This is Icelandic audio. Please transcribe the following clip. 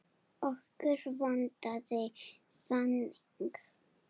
Okkur vantaði þannig.